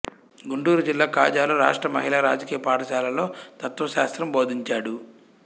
గుంటూరు జిల్లా కాజలో రాష్ట్ర మహిళా రాజకీయ పాఠశాలలో తత్వశాస్త్రం బోధించాడు